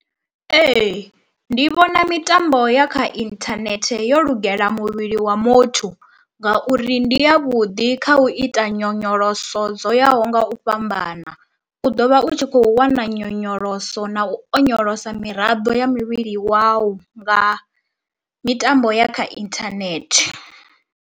Ee, ndi vhona mitambo ya kha inthanethe yo lugela muvhili wa muthu ngauri ndi ya vhuḓi kha u ita nyonyoloso dzo yaho nga u fhambana, u ḓo vha u tshi kho wana nyonyoloso na u onyolosa miraḓo ya muvhili wau nga mitambo ya kha inthanethe.